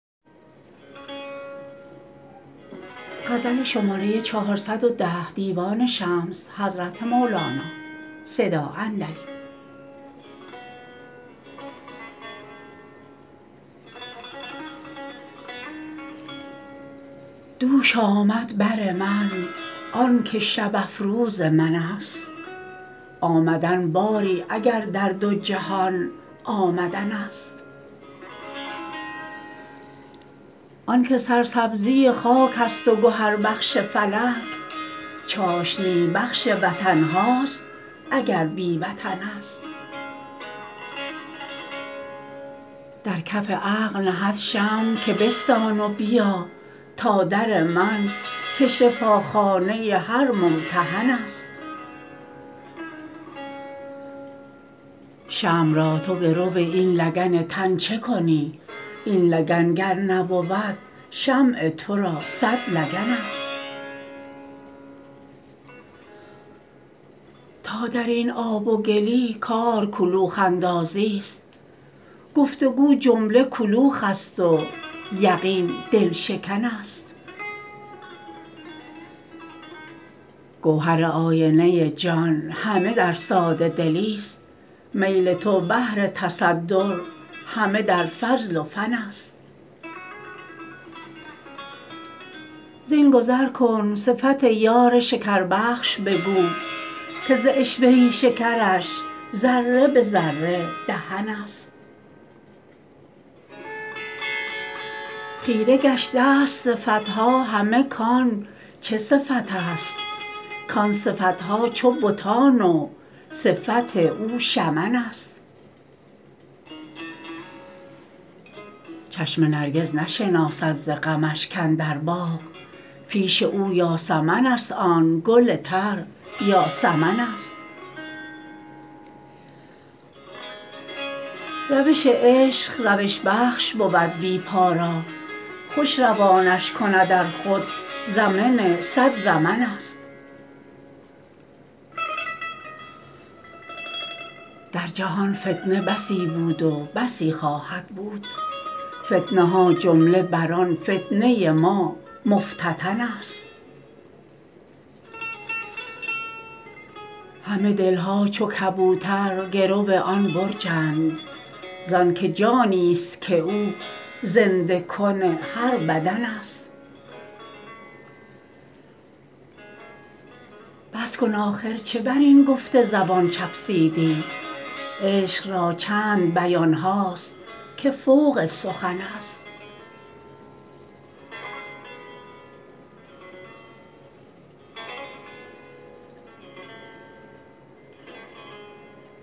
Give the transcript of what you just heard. دوش آمد بر من آنکه شب افروز منست آمدن باری اگر در دو جهان آمدنست آنکه سرسبزی خاک ست و گهربخش فلک چاشنی بخش وطن هاست اگر بی وطنست در کف عقل نهد شمع که بستان و بیا تا در من که شفاخانه هر ممتحن است شمع را تو گرو این لگن تن چه کنی این لگن گر نبود شمع تو را صد لگنست تا در این آب و گلی کار کلوخ اندازیست گفت و گو جمله کلوخ ست و یقین دل شکنست گوهر آینه جان همه در ساده دلی ست میل تو بهر تصدر همه در فضل و فن است زین گذر کن صفت یار شکربخش بگو که ز عشوه شکرش ذره به ذره دهن است خیره گشته است صفت ها همه کان چه صفت است کان صفت ها چو بتان و صفت او شمن است چشم نرگس نشناسد ز غمش کاندر باغ پیش او یاسمن است آن گل تر یا سمنست روش عشق روش بخش بود بی پا را خوش روانش کند ار خود زمن صد زمنست در جهان فتنه بسی بود و بسی خواهد بود فتنه ها جمله بر آن فتنه ما مفتتنست همه دل ها چو کبوتر گرو آن برجند زانک جانی است که او زنده کن هر بدنست بس کن آخر چه بر این گفت زبان چفسیدی عشق را چند بیان ها است که فوق سخنست